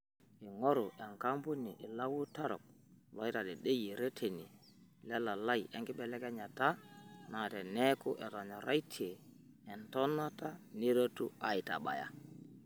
Eing'oru enkampuni ilautarok loitadedeyia reteni lelalai enkibelekenyata naa, teneeku etonyoraitia entonata, neretu aitabaya.